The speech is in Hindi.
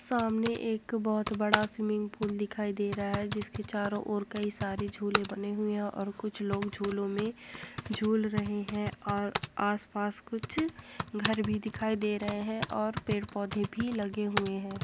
सामने एक बहोत बड़ा स्वीमिंग पुल दिखाई दे रहा है जिसके चारो और कई सारे झूले बने हुए है और कुछ लोग झूलो मे झूल रहे है और आस-पास कुछ घर भी दिखाई दे रहे है और पेड़-पौधे भी लगे हुए है।